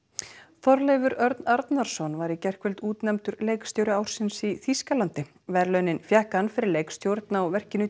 Þorleifur Örn Arnarsson var í gærkvöld útnefndur leikstjóri ársins í Þýskalandi verðlaunin fékk hann fyrir leikstjórn á verkinu